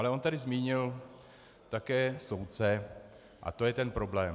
Ale on tady zmínil také soudce a to je ten problém.